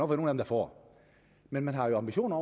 dem der får men man har jo ambitioner